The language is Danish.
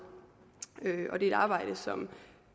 det er et arbejde som